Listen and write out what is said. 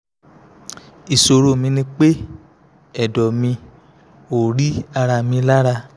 ìṣòro mi ni pé ẹ̀dọ̀ mi ò rí ara mi lára